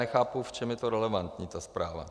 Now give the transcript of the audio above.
Nechápu, v čem je to relevantní, ta zpráva.